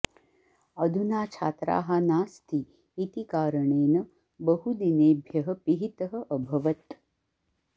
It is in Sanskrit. अधुना छात्राः नास्ति इति कारणेन बहु दिनेभ्यः पिहितः अभवत्